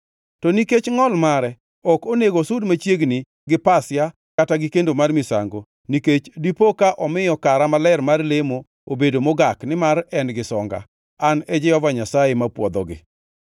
to nikech ngʼol mare ok onego osud machiegni gi Pasia kata gi kendo mar misango, nikech dipo ka omiyo kara maler mar lemo obedo mogak nimar en gi songa. An e Jehova Nyasaye mapwodhogi.’ ”